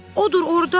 Odur orda!